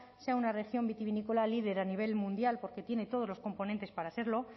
sea una región vitivinícola líder a nivel mundial porque tiene todos los componentes para serlo